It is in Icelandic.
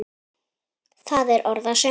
Það er orð að sönnu.